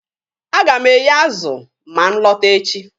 A ga m eye azụ ma m lọta echi.